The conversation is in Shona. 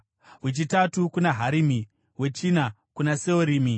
wechitatu kuna Harimi, wechina kuna Seorimi,